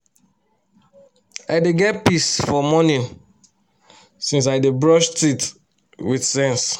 i dey get peace for morning since i dey brush teeth with sense